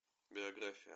биография